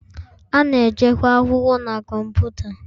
A na-echekwa akwụkwọ na kọmputa.